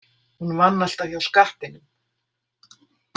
Hún vann alltaf hjá skattinum.